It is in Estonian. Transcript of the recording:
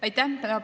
Aitäh!